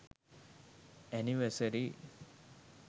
anniversary